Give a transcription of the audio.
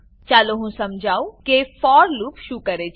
ચાલો હું સમજાવું કે ફોર લૂપ શું કરે છે